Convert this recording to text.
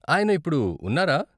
ఆయన ఇప్పుడు ఉన్నారా?